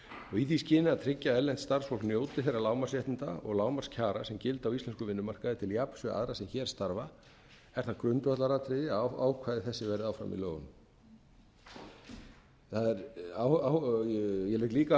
í því skyni að tryggja að erlent starfsfólk njóti þeirra lágmarksréttinda og lágmarkskjara sem gilda á íslenskum vinnumarkaði til jafns við aðra sem hér starfa er það grundvallaratriði að ákvæði þessi verði áfram í lögunum ég legg líka